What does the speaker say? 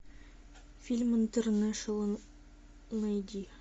фильм интернэшнл найди